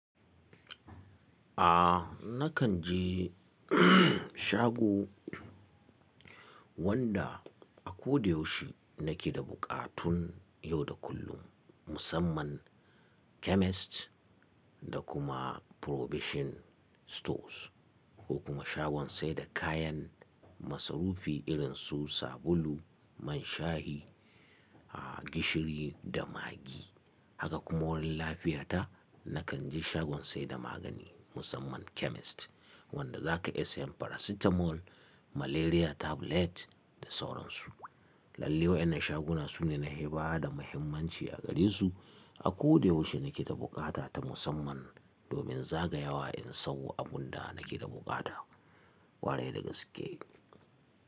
A nakan je shago wanda a ko da yaushe nake da buƙatun yau da kullum musamman chemist da kuma probation stores ko kuma shagon sai da kayan masarufi irin su sabulu, man shahi, a gishiri da magi. Haka kuma wurin lafiyata nakan je shagon sai da magani musamman chemist wanda za ka iya siyan paracetamol, malaria tablet da sauran su. Lalle wainnan shaguna su ne na hi bada muhimmanci a gare su. A ko da yaushe nake da bukata ta musamman domin za ga yawa in sawo abun da nake da bukata. Kwarai dagaske.